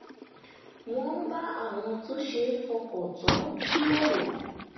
wọ́n bá àwọn tó ṣeé fọkàn tán jíròrò